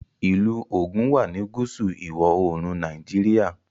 ilú Ogun wá ní gúúsù ìwọ̀-oòrùn Nàìjíríà